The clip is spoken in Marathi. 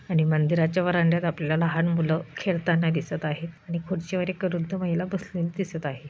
आणि मंदिराच्या व्हरांड्यात आपल्याला लहान मुलं खेळताना दिसत आहे आणि खुर्चीवर एक वृद्ध बसलेली दिसत आहे.